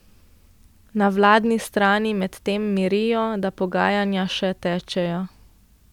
Na vladni strani medtem mirijo, da pogajanja še tečejo.